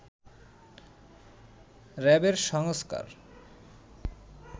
র‍্যাবের সংস্কার